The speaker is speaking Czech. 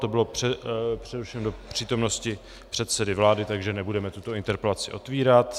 To bylo přerušeno do přítomnosti předsedy vlády, takže nebudeme tuto interpelaci otvírat.